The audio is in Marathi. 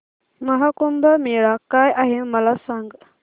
महा कुंभ मेळा काय आहे मला सांग